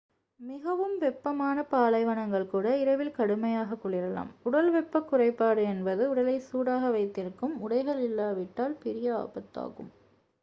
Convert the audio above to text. மிகவும் வெப்பமான பாலைவனங்கள் கூட இரவில் கடுமையாக குளிரலாம் உடல்வெப்பக்குறைபாடு என்பது உடலை சூடாக வைத்திருக்கும் உடைகள் இல்லாவிட்டால் பெரிய ஆபத்து ஆகும்